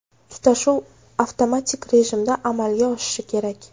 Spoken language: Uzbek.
Tutashuv avtomatik rejimda amalga oshishi kerak.